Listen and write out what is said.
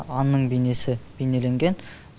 аңның бейнесі бейнеленген